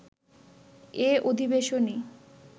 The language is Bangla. এ অধিবেশনেই